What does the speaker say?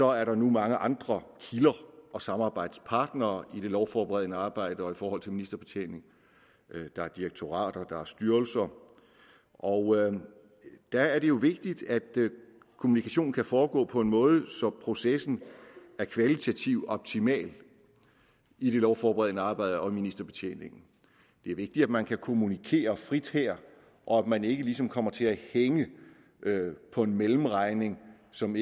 er der nu mange andre kilder og samarbejdspartnere i det lovforberedende arbejde og i forhold til ministerbetjening der er direktorater og der er styrelser og der er det jo vigtigt at kommunikationen kan foregå på en måde så processen er kvalitativt optimal i det lovforberedende arbejde og i ministerbetjeningen det er vigtigt at man kan kommunikere frit her og at man ikke ligesom kommer til at hænge på en mellemregning som